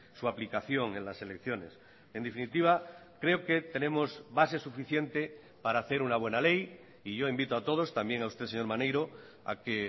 su aplicación en las elecciones en definitiva creo que tenemos base suficiente para hacer una buena ley y yo invito a todos también a usted señor maneiro a que